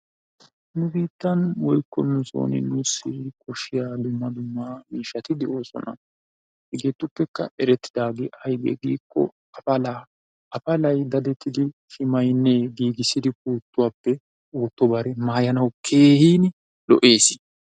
Nu biittan woykko nu soon nussi koshshiya Wolayttato doonan miishshati de'oosona. hegetu eretidaage aybbe giiko afalaa, afalay daddetidi shimayinne giigissi puutuwappe ootto bare maayanaw keehin lo''ees.